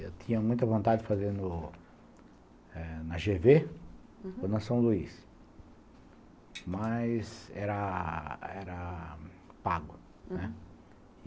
Eu tinha muita vontade de fazer no eh na gê vê ou na São Luís, mas era era pago, né.